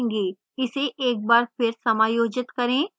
इसे एक बार फिर समायोजित करें